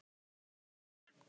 Kæri doktor